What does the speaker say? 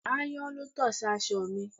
Ayan ló to sí aṣọ mi.